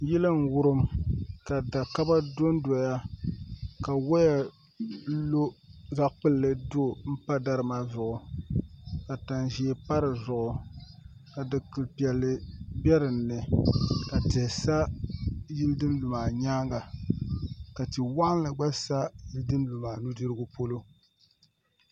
Yili n wurim ka da kaba dondoya ka woya lo zaɣ kpulli pa dari maa zuɣu ka tani ʒiɛ pa dizuɣu ka dikili piɛlli bɛ dinni ka tihi sa yili din lu maa nyaanga ka tia waɣanli gba sa yili din lu maaa nudirigu polo